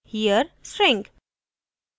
* here string